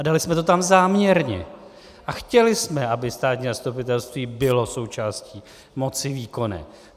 A dali jsme to tam záměrně a chtěli jsme, aby státní zastupitelství bylo součástí moci výkonné.